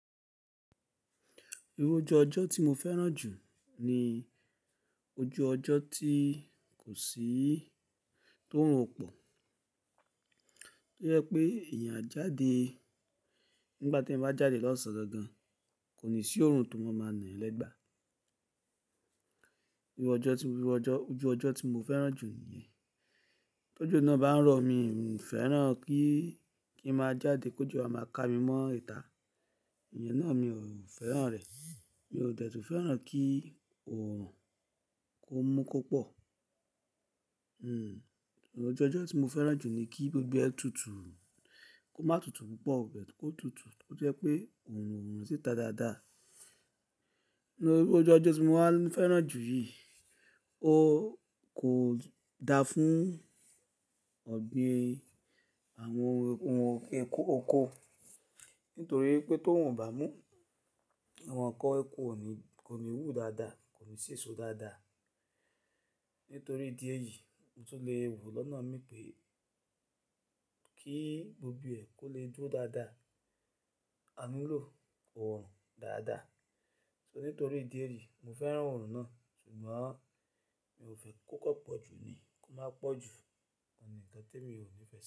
Irú ojú ọjọ́ tí mo fẹ́ràn jù ni ojú ọjọ́ tí kò sí tó orùn ọ̀ pọ̀. Tó jẹ́ pé èèyàn á jáde, nígbà tí ẹ̀yàn bá jáde lọ́sàn-án gangan, kò ní sí oòrùn tó máa máa na eyan lẹ́gba. Irú ọjọ́ tí, irú ọjọ́, ojú ọjọ́ tí mo fẹ́ràn jù niyẹn. Tó òjò nà bá ń rọ̀, mi ò fẹ́ràn kí, kí n máa jáde, kòjọ́ a máa ká mi mọ́ ìta. Ìyẹn náà mi ò fẹ́ràn rẹ̀. Mi ò dẹ̀ tù fẹ́ràn kí oòrùn kó mú kó pọ̀. Ojú ọjọ́ tí mo fẹ́ràn jù ni kí gbogbo ẹ tutù. Kó má tutù púpọ̀ ó bẹ́ẹ̀t kó tutù. Kó jẹ́ pé oòrùn ò run sì ta dáadáa. Ìru ojú ọjọ́ tí mo wà máa fẹ́ràn jù yí, ó kò da fún ọ̀gbìn àwọn ohun okó. Nítorí pé tó run ó bà mú, àwọn ǹkan okó kò ní, kò ní wú dáadáa, kò ní sìso dáadáa. Nítorí ìdí èyí, mo tún le wò lọ́nà mi pé kí gbogbo ẹ kó lè dúró dáadáa, a nílò oòrùn dáadáa. So nítorí ìdí èyí, mo fẹ́ràn oòrùn náà, ṣùgbọ́n mi ò fẹ́ kó kò pọ̀ ju ní, kó má pọ̀ ju. Òun ní, nkan tè mi ò ní fẹ́ sí.